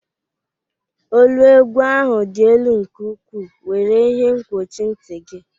Olu egwu ahụ dị elu nke ukwu, were ihe nkwuchi nti gị!